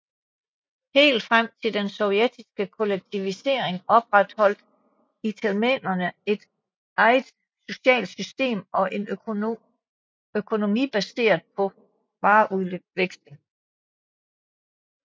Helt frem til den sovjetiske kollektivisering opretholdt itelmenerne et eget socialt system og en økonomi baseret på vareudveksling